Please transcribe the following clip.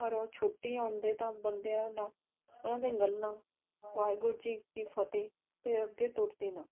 ਜਦੋਂ ਉਹ ਛੁਟੀ ਆਉਂਦੇ ਤਾਂ ਬੰਦਿਆਂ ਨਾਲ ਉਨ੍ਹਾਂ ਦੀ ਗੱਲ ਵਾਹਿਗੁਰੂ ਜੀ ਕੀ ਫ਼ਤਹਿ ਤੋਂ ਅਗੇ ਟੁਰਦੀ ਨਾ